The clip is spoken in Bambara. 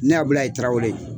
Ne Abulayi Tarawele